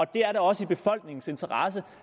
det er da også i befolkningens interesse